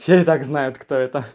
все итак знают кто это